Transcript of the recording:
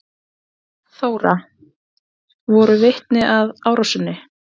Þóra: Voru vitni að árásinni?